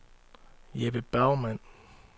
Jeppe Bergmann